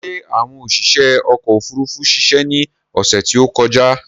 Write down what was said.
Ṣé àwọn oṣiṣé ọkò òfurufú ṣiṣe ni ọ̀sè tí ó kọjá?